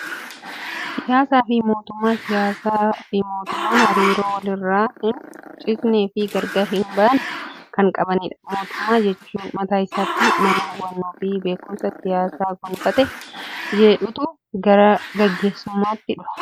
Siyaasaa fi mootummaa Siyaasaa fi mootummaan hariiroo walirraa hin citnee fi gargar hin baane kan qabanidha. Mootummaa jechuun mataa isaatiin nama hubannoo fi beekumsa siyaasaa gonfatee jedhetu gara gaggeessummaatti dhufa.